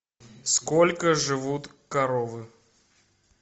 сколько живут коровы